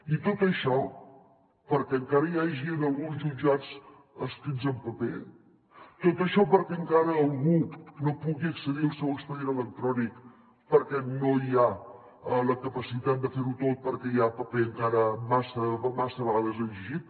i tot això perquè encara hi hagi en alguns jutjats escrits en paper tot això perquè encara algú no pugui accedir al seu expedient electrònic perquè no hi ha la capacitat de fer ho tot perquè hi ha paper encara massa vegades exigit